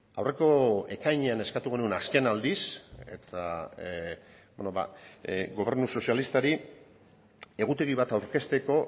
aurreko ekainean eskatu genuen azken aldiz eta gobernu sozialistari egutegi bat aurkezteko